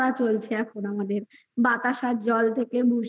চলছে আমাদের বাতাসার জল থেকে মিস্রীর